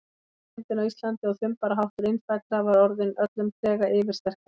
Einsemdin á Íslandi og þumbaraháttur innfæddra var orðin öllum trega yfirsterkari.